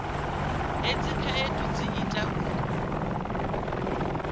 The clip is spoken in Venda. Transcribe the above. hedzi khaedu dzi ita uri